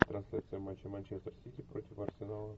трансляция матча манчестер сити против арсенала